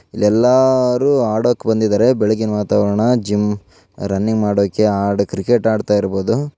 ಇಲ್ಲಿ ಎಲ್ಲರೂ ಆಡಕ್ಕೆ ಬಂದಿದ್ದಾರೆ ಬೆಳಗಿನ ವಾತಾವರಣ ಜಿಮ್‌ ರನ್ನಿಂಗ್‌ ಮಾಡೋಕೆ ಕ್ರಿಕೆಟ್‌ ಆಡ್ತಾ ಇರಬಹುದು.